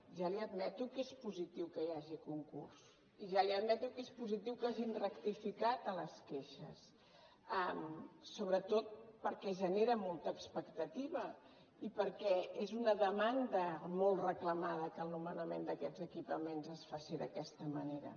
ja li admeto que és positiu que hi hagi concurs i ja li admeto que és positiu que hagin rectificat a les queixes sobretot perquè genera molta expectativa i perquè és una demanda molt reclamada que el nomenament d’aquests equipaments es faci d’aquesta manera